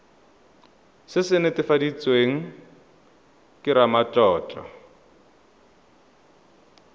se se netefaditsweng ke ramatlotlo